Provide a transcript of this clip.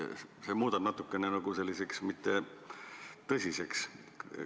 See muudab asja natukene selliseks mittetõsiseks.